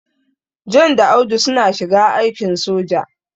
John da Audu suna shiga aikin soja.